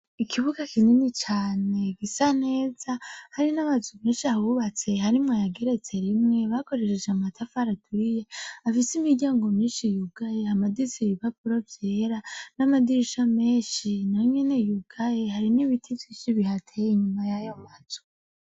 Ikibuga kinini cane gisa neza hari n'amazu menshi ahubatse harimwo ayageretse rimwe bakoresheje amatafari ahiye afise imiryango myinshi yugaye hamaditse ibipapuro vyera n'amadirisha menshi nayonyene yugaye hari n'ibiti vyinshi bihateye inyuma yayo mazu.